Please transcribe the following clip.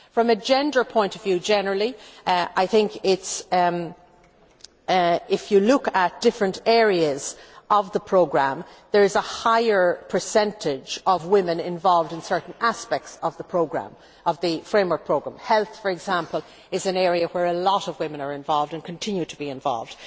From a gender point of view generally, if you look at different areas of the programme, there is a higher percentage of women involved in certain aspects of the framework programme health, for example, is an area where a lot of women are involved and continue to be involved.